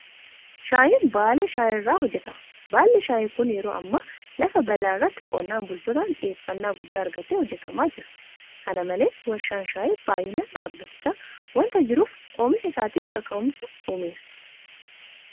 Shaayiin baala shaayii irraa hojjetama. Baalli shaayii kun yeroo ammaa lafa bal'aa irratti qonnaan bultootaan xiyyeeffannaa guddaa argatee hojjetamaa jira. Kana malees warshaan shaayii baay'inaan dhaabbachaa waanta jiruuf oomisha isaatiif kaka'umsa uumeera.